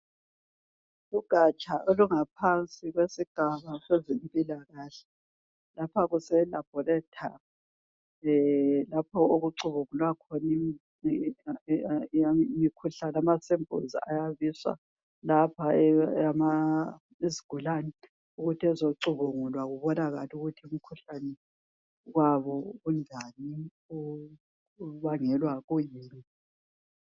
Ugatsha olungaphansi kwesigaba sezempilakahle lapha kuse laboratory lapha okucubungulwa khona imikhuhlane ama sampuluzi ayabiswa lapha, izigulane ukuthi bezocubungulwa bebone ukuthi umkhuhlane wabo unjani ubangelwa yikuyina.